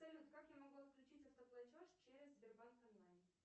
салют как я могу отключить автоплатеж через сбербанк онлайн